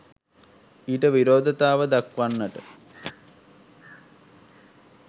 ඊට විරෝධතාව දක්වන්නට